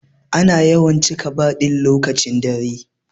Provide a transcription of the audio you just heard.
Ana yawan cika bar din lokacin dare.